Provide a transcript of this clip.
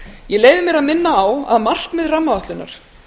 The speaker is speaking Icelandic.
ég leyfi mér að minna á að markmið rammaáætlunar